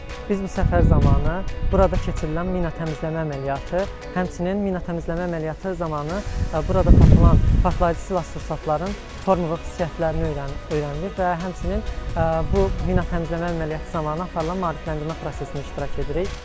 Biz bu səfər zamanı burada keçirilən mina təmizləmə əməliyyatı, həmçinin mina təmizləmə əməliyyatı zamanı burada tapılan partlayıcı vasitələrin formalaşdıq xüsusiyyətlərini öyrənirik və həmçinin bu mina təmizləmə əməliyyatı zamanı aparılan maarifləndirmə prosesində iştirak edirik.